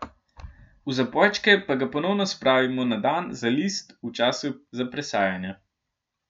V zabojčke pa ga ponovno spravimo na dan za list, v času za presajanje.